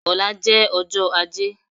Ọ̀la jẹ́ ọjọ́ ajé